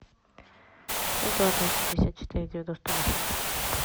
шесть два восемьдесят четыре девяносто восемь